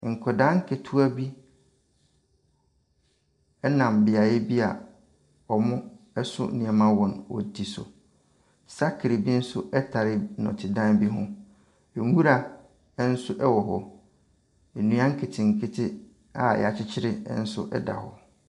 Nkwadaa nketewa bi ɛnam beaeɛ bi a wɔn so nneɛma ɛwɔ wɔn ti. Sakre bi nso ɛtare nnɔte dan bi ho. Nwura nso ɛwɔ hɔ. Nnua nketenkete a y'akyekyere nso ɛda hɔ.